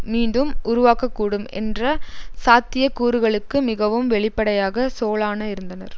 மீண்டும் உருவாகக்கூடும் என்ற சாத்திய கூறுகளுக்கு மிகவும் வெளிப்படையாக சோலான இருந்தனர்